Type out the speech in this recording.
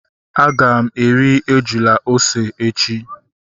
Aga m eri ejula ose echi